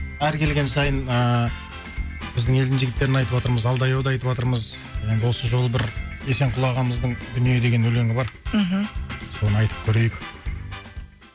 әр келген сайын ыыы біздің елдің жігіттерін айтыватырмыз алдай ауды айтыватырмыз енді осы жолы бір есенқұл ағамыздың дүние деген өлеңі бар мхм соны айтып көрейік